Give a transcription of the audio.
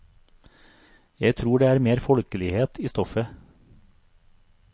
Jeg tror det er mer folkeligheten i stoffet.